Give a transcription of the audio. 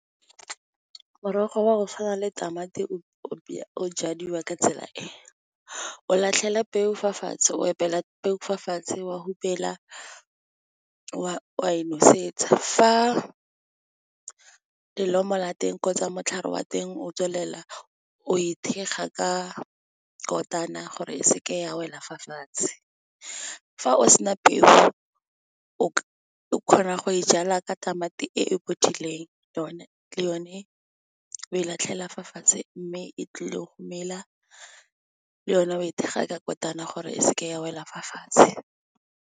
Morogo wa go tshwana le tamati o jadiwa ka tsela e. O latlhela peo fa fatshe, o epela peo fa fatshe, wa hupela, wa e nosetsa. Fa lelomo la teng kgotsa motlhare wa teng o tswelela, o e thekga ka kotane gore e seke ya wela fa fatshe. Fa o sena peo, o kgona go e jala ka tamati e bodileng, yone le yone e latlhela fa fatshe mme e tlile go mela, le yone e thekga ka kotane gore e seke ya wela fa fatshe.